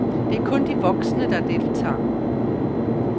Det er kun de voksne, der deltager.